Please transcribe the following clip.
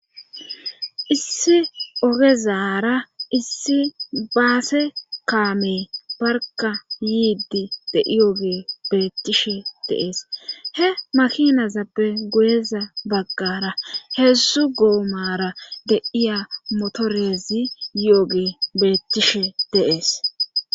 issi ogezara issi baase kaame barka yiidi de iyooge beettishe deees he makinazappe goyeza baggara heedzzu goomara de'iya motorezi yi7oge beettishe deees